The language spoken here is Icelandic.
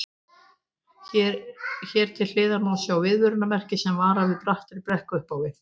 Hér til hliðar má sjá viðvörunarmerki sem varar við brattri brekku upp á við.